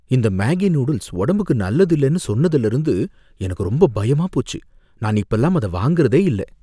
இந்த Maggi noodles உடம்புக்கு நல்லதில்லனு சொன்னதுல இருந்து எனக்கு ரொம்ப பயமா போச்சு, நான் இப்பலாம் அத வாங்குறதே இல்ல